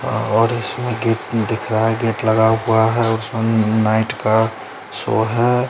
हां और इसमें गेट दिख रहा है गेट लगा हुआ है और सन नाईट का शो है।